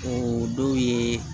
O dɔw ye